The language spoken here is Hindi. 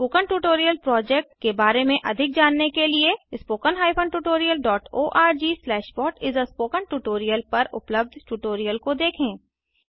स्पोकन ट्यूटोरियल प्रोजेक्ट के बारें में अधिक जानने के लिए httpspoken tutorialorgWhat is a Spoken Tutorial पर उपलब्ध ट्यूटोरियल को देखें